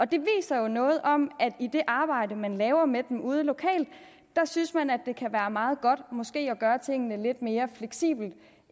det viser jo noget om at i det arbejde man laver med dem ude lokalt synes man at det kan være meget godt måske at gøre tingene lidt mere fleksible